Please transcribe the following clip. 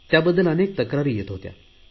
त्याबद्दल अनेक तक्रारी येत होत्या